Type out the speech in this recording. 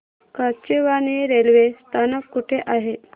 Kachewani railway स्थानक कुठे आहे